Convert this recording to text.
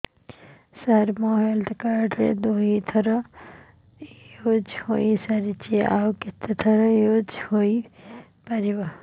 ସାର ମୋ health card ଦୁଇ ଥର ୟୁଜ଼ ହୈ ସାରିଛି ଆଉ କେତେ ଥର ୟୁଜ଼ ହୈ ପାରିବ